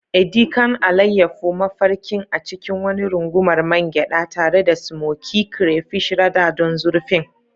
Edi kan, alayyafo mafarkin a cikin wani rungumar man gyada, tare da smokey crayfish rada don zurfin.